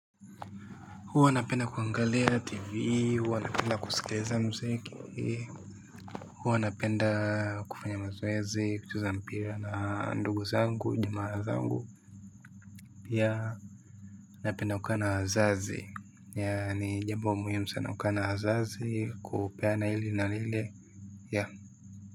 Huwa napenda kuangalia TV, huwa napenda kusikiliza muziki, huwa napenda kufanya mazoezi, kucheza mpira na ndugu zangu, jamaa zangu. Pia huwa napenda kukaa na wazazi, yaani jambo muhimu sana kukaa na wazazi, kupeana hili na hili, yaani.